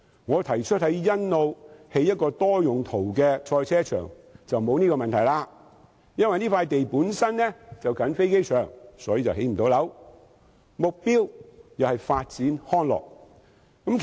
我提出在欣澳興建一個多用途賽車場，便沒有這個問題，因為該片土地本身鄰近機場，無法興建房屋，目標是發展康樂。